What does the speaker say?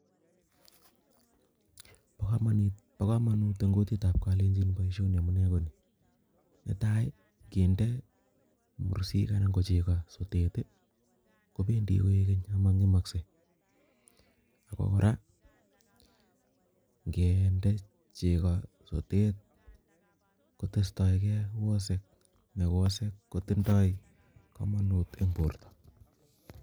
bo komonut eng kutit ab kolenjin boisioni amune ko inoni, netai kinde mursik anan ko chego sotet i kobendi koigeng' ak mong'emosek, ak kora ing'ende chego sotet kotestogen wosek, ne wosek kotindoi komonut en borto.